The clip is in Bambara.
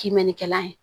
Kimɛnnikɛla ye